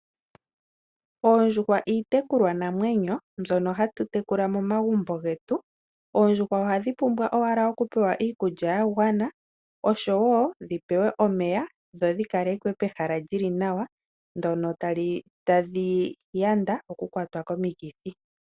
Oondjuwa iitekulwa namwenyo mbyoka hatu tekula momagumbo getu. Oondjuwa ohadhi pumbwa owala okupewa iikulya ya gwana oshowo nomeya dho dhi kalekwe pehala lyi li nawa, mpoka tadhi vulu okuyanda omikithi.